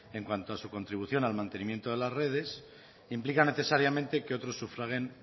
en cuanto a su contribución al mantenimiento de las redes implica necesariamente que otros sufraguen